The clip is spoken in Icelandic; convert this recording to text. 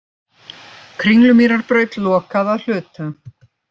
Kringlumýrarbraut lokað að hluta